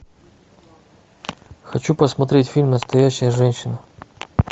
хочу посмотреть фильм настоящая женщина